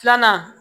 Filanan